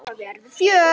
Það verður fjör.